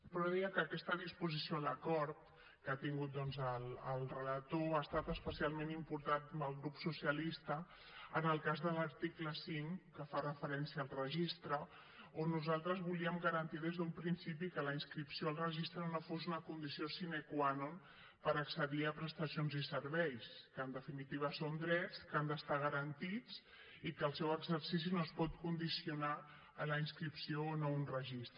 però deia que aquesta disposició a l’acord que ha tingut doncs el relator ha estat especialment important pel grup socialista en el cas de l’article cinc que fa referència al registre on nosaltres volíem garantir des d’un principi que la inscripció al registre no fos una condició sine qua non per accedir a prestacions i serveis que en definitiva són drets que han d’estar garantits i que el seu exercici no es pot condicionar a la inscripció o no a un registre